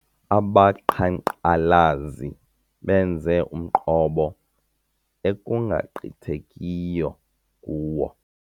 Abaqhankqalazi benze umqobo ekungagqithekiyo kuwo.